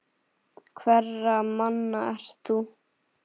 Hverra manna ert þú?